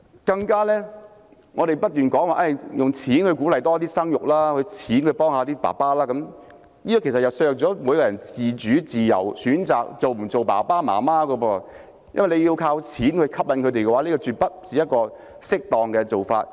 更為甚者，我們不斷說用錢鼓勵生育、用錢幫助父親，其實這便削弱了每一個人選擇是否當父母親的自主和自由，因為要靠錢吸引他們，這絕非適當做法。